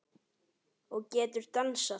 Og getur dansað.